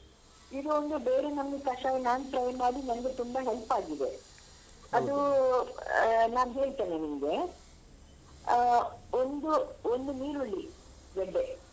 ಇದು ಒಂದು ಬೇರೆ ನಮೂನಿ ಕಷಾಯ ನಾನ್ try ಮಾಡಿ ನನ್ಗೆ ತುಂಬ help ಆಗಿದೆ ಅದೂ ಆ ನಾನ್ ಹೇಳ್ತೇನೆ ನಿಮ್ಗೆ ಅಹ್ ಒಂದು ಒಂದು ನೀರುಳ್ಳಿ ಗೆಡ್ಡೆ.